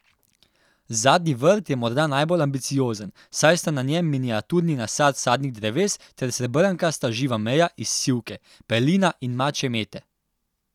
Zadnji vrt je morda najbolj ambiciozen, saj sta na njem miniaturni nasad sadnih dreves ter srebrnkasta živa meja iz sivke, pelina in mačje mete.